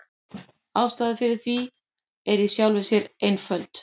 Ástæðan fyrir því er í sjálfu sér einföld.